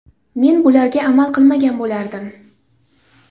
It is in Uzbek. Men bularga amal qilmagan bo‘lardim.